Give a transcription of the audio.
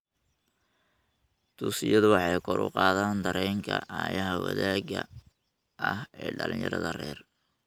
Dugsiyadu waxay kor u qaadaan dareenka aayaha wadaagga ah ee dhalinyarada rer .